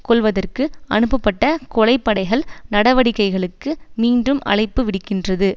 கொல்வதற்கு அனுப்பப்பட்ட கொலை படைகள் நடவடிக்கைகளுக்கு மீண்டும் அழைப்பு விடுக்கின்றது